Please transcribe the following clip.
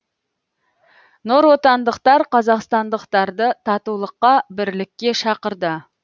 нұротандықтар қазақстандықтарды татулыққа бірлікке шақырды